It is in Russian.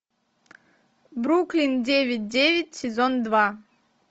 бруклин девять девять сезон два